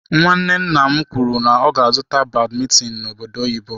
Nwanne nna m kwuru n'ọga azụtara badmintin n'obodo oyibo.